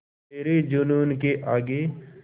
तेरे जूनून के आगे